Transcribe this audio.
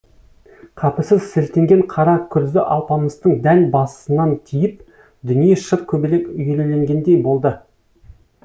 қапысыз сілтенген қара күрзі алпамыстың дәл басынан тиіп дүние шыр көбелек үйірілгендей болды